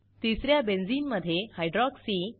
तिस या बेंझिनमधे हायड्रॉक्सी